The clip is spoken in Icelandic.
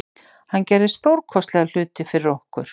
Hann gerði stórkostlega hluti fyrir okkur.